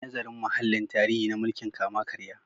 Yi nazarin mahallin tarihi na mulkin kama-karya.